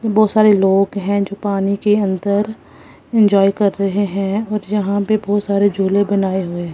बहुत सारे लोग हैं जो पानी के अंदर इंजॉय कर रहे हैं और यहां पे बहुत सारे झूले बनाए हुए हैं।